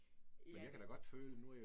Ja, det